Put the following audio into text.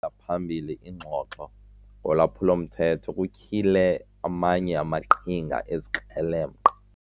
phambili ingxoxo ngolwaphulo-mthetho kutyhile amanye amaqhinga ezikrelemnqa.